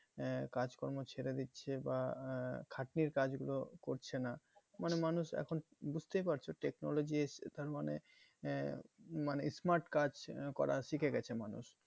হ্যাঁ কাজ কর্ম ছেড়ে দিচ্ছে বা আহ খাটনির কাজ গুলো করছে না মানে মানুষ এখন বুঝতেই পারছো technology এসছে তার মানে আহ মানে smart কাজ করা শিখে গেছে মানুষ।